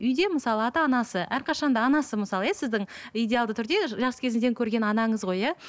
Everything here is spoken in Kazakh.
үйде мысалы ата анасы әрқашан да анасы мысалы иә сіздің идеалды түрде жас кезіңізден көрген анаңыз ғой иә